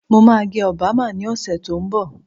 Mo máa gẹ Obama ní ọ̀sẹ̀ tó ń bọ̀